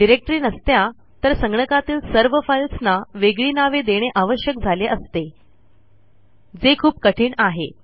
directory नसत्या तर संगणकातील सर्व फाईल्सना वेगळी नावे देणे आवश्यक झाले असते जे खूप कठीण आहे